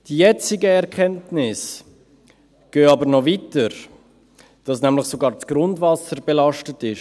Die jetzigen Erkenntnisse gehen aber noch weiter: dass nämlich sogar das Grundwasser belastet ist.